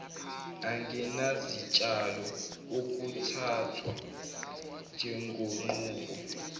angenazitshalo akuthathwa njengenqubo